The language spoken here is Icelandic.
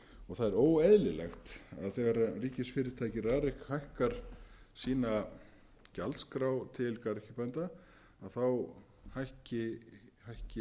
og það er óeðlilegt að þegar ríkisfyrirtækið rarik hækkar sína gjaldskrá til garðyrkjubænda þá hækki niðurgreiðslan á móti þetta er